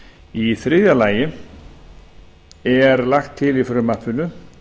í þriðja lagi er lagt til í frumvarpinu